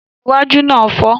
Dígí iwájú náà fọ́.